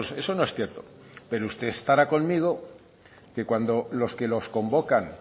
eso no es cierto pero usted estará conmigo que cuando los que los convocan